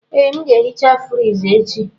Ee, m ga-ehicha friji echi.